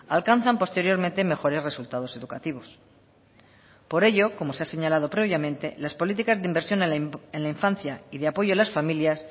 alcanzan posteriormente mejores resultados educativos por ello como se ha señalado previamente las políticas de inversión en la infancia y de apoyo a las familias